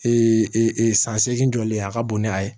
Ee san seegin jɔli ye a ka bon ni a ye